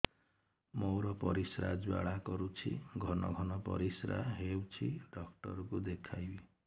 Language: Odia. ମୋର ପରିଶ୍ରା ଜ୍ୱାଳା କରୁଛି ଘନ ଘନ ପରିଶ୍ରା ହେଉଛି ଡକ୍ଟର କୁ ଦେଖାଇବି